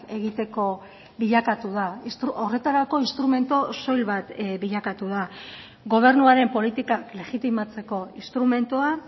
egiteko bilakatu da horretarako instrumentu soil bat bilakatu da gobernuaren politika legitimatzeko instrumentua